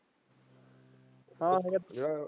ਹਾਂ .